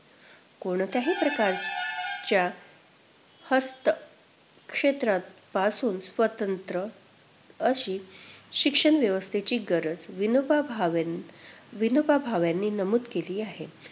कोणत्याही प्रकारच्या हस्तक्षेपापासून स्वतंत्र अशी शिक्षणव्यवस्थेची गरज विनोबा भावेन~ विनोबा भावेंनी नमूद केली आहे.